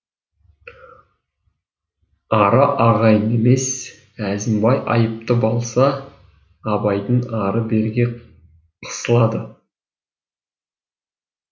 ара ағайын емес әзімбай айыпты болса абайдың ары беріге қысылады